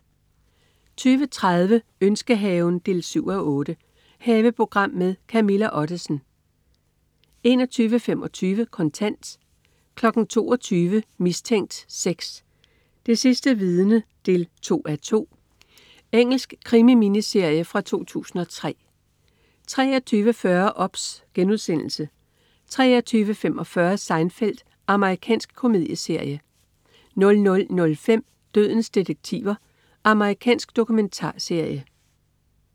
20.30 Ønskehaven 7:8. Haveprogram med Camilla Ottesen 21.25 Kontant 22.00 Mistænkt 6: Det sidste vidne 2:2. Engelsk krimi-miniserie fra 2003 23.40 OBS* 23.45 Seinfeld. Amerikansk komedieserie 00.05 Dødens detektiver. Amerikansk dokumentarserie